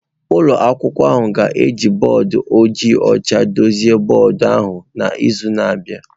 Ụlọ akwụkwọ ahụ ga-eji bọọdụ ojii ọcha dochie bọọdụ ahụ n'izu na-abịa